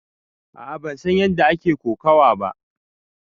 A'a ban san ƴanda ake kokawa ba.